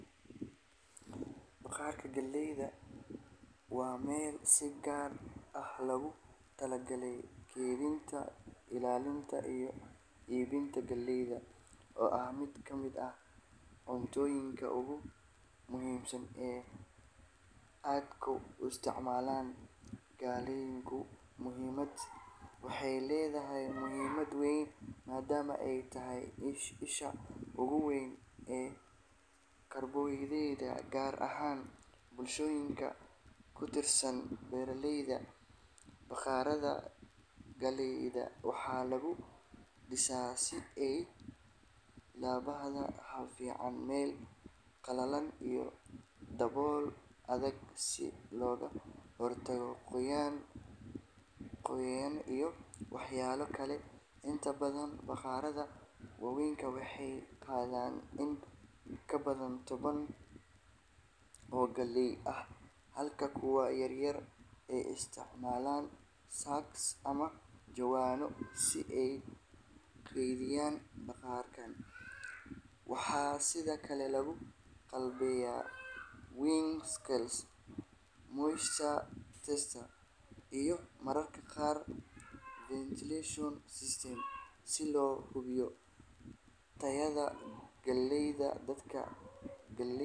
Bakhaarka galeyda waa meel si gaar ah loogu talagalay kaydinta, ilaalinta iyo iibinta galeyda oo ah mid ka mid ah cuntooyinka ugu muhiimsan ee ay dadku isticmaalaan. Galeydu waxay leedahay muhiimad weyn maadaama ay tahay isha ugu weyn ee karbohaydraytyada, gaar ahaan bulshooyinka ku tiirsan beeralayda. Bakhaarada galeyda waxaa lagu dhisaa si ay u lahaadaan hawo fiican, meel qalalan iyo dabool adag si looga hortago qoyaan, cayayaan iyo waxyeello kale. Inta badan, bakhaarada waaweyn waxay qaadaan in ka badan toban tan oo galey ah, halka kuwa yaryar ay isticmaalaan sacks ama jawaano si ay u kaydiyaan. Bakhaarkan waxaa sidoo kale lagu qalabeeyaa weighing scale, moisture tester iyo mararka qaar ventilation system si loo hubiyo tayada galeyda. Dadka galeyda.